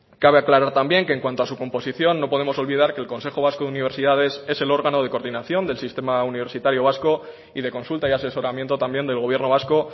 cabe aclarar también que en cuanto a su composición no podemos olvidar que el consejo vasco de universidades es el órgano de coordinación del sistema universitario vasco y de consulta y asesoramiento también del gobierno vasco